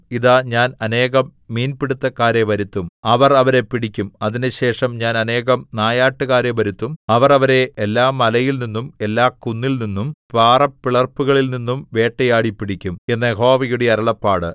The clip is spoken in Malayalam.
ഇതാ ഞാൻ അനേകം മീൻപിടുത്തക്കാരെ വരുത്തും അവർ അവരെ പിടിക്കും അതിന്‍റെശേഷം ഞാൻ അനേകം നായാട്ടുകാരെ വരുത്തും അവർ അവരെ എല്ലാമലയിൽനിന്നും എല്ലാകുന്നിൽനിന്നും പാറപ്പിളർപ്പുകളിൽനിന്നും വേട്ടയാടിപ്പിടിക്കും എന്ന് യഹോവയുടെ അരുളപ്പാട്